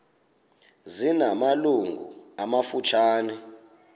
zina malungu amafutshane